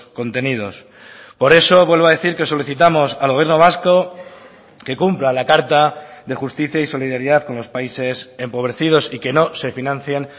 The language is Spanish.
contenidos por eso vuelvo a decir que solicitamos al gobierno vasco que cumpla la carta de justicia y solidaridad con los países empobrecidos y que no se financien